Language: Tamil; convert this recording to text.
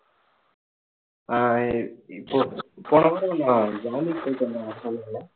ஆஹ் அஹ் போ~ போன வாரம் நான் ஜான்விக் போயிட்டு வந்தேன் உன்கிட்ட சொன்னேன்ல